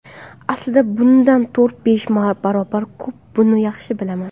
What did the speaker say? Aslida bundan to‘rt-besh barobar ko‘p, buni yaxshi bilaman.